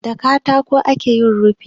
Da katako ake yin rufi.